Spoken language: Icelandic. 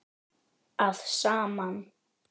að saman.